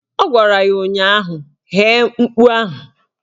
Ọ gwara ya ụnyaahụ "Ghee mkpu ahụ"!